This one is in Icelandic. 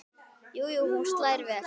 Jú jú, hún slær vel!